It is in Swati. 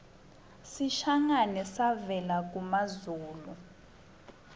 sishangane savela kumazulu